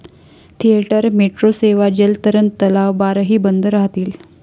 Theatre, metro सेवा, जलतरण तलाव, बारही बंद राहतील.